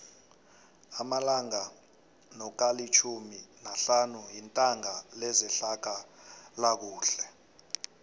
amalanga nokalitjhumi nahlanu yitanga lezehlalakuhle